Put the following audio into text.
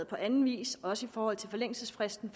på anden vis også i forhold til forlængelsesfristen